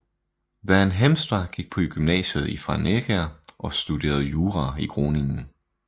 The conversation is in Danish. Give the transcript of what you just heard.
Van Heemstra gik på gymnasiet i Franeker og studerede jura i Groningen